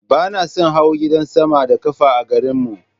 Ba na son hawa gadan sama da ƙafa a garin mu.